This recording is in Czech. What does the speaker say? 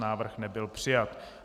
Návrh nebyl přijat.